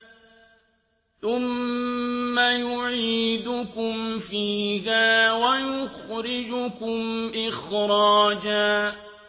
ثُمَّ يُعِيدُكُمْ فِيهَا وَيُخْرِجُكُمْ إِخْرَاجًا